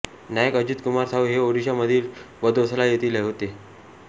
नायक अजित कुमार साहू हे ओडिशा मधील बदौसलाा येथील होते